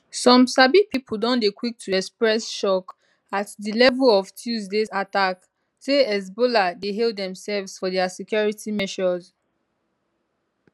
some sabi pipo don dey quick to express shock at di level of tuesdays attack say hezbollah dey hail demsefs for dia security measures